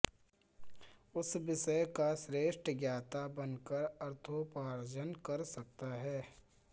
उस विषय का श्रेष्ठ ज्ञाता बन कर अर्थोपार्जन कर सकता है